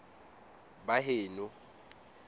baheno